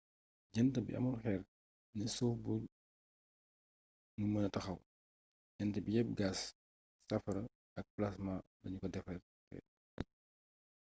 jant bi amul xeer ne suuf bu nu mëna taxaw jant bi yepp gaas safara ak plaasma lanu ko defaree